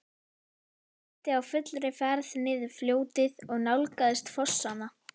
Ég sigldi á fullri ferð niður fljótið og nálgaðist fossana.